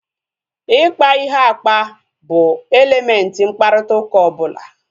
Ikpa ihe akpa bụ elementị mkparịta ụka ọbụla